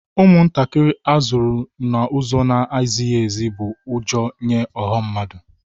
Ụmụntakịrị a zụrụ n'ụzọ na-ezighi ezi bụ ụjọ nye ọha mmadụ